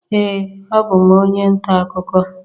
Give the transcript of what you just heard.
Ee, abụ m onye nta akụkọ